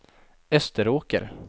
Österåker